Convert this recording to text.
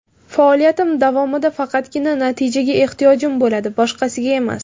Faoliyatim davomida faqatgina natijaga ehtiyojim bo‘ladi, boshqasiga emas.